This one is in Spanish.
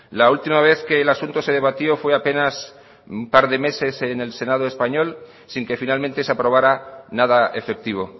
la última vez que el asunto se debatió fue apenas hace un par de meses en el senado español sin que finalmente se aprobara nada efectivo